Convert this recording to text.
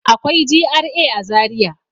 Akwai GRA a Zariya.